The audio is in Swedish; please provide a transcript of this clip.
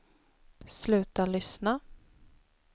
sluta lyssna